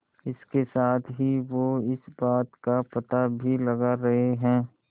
इसके साथ ही वो इस बात का पता भी लगा रहे हैं